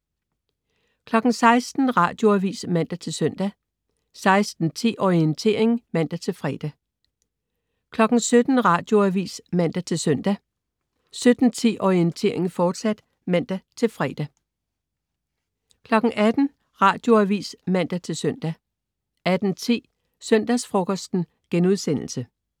16.00 Radioavis (man-søn) 16.10 Orientering (man-fre) 17.00 Radioavis (man-søn) 17.10 Orientering, fortsat (man-fre) 18.00 Radioavis (man-søn) 18.10 Søndagsfrokosten*